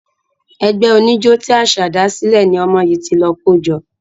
Ẹgbẹ́ oníjó tí Àṣá dásílẹ̀ ni ọmọ yìí ti lọ kójó.